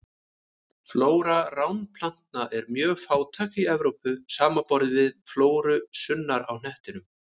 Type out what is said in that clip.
Flóra ránplantna er mjög fátækleg í Evrópu, samanborið við flóruna sunnar á hnettinum.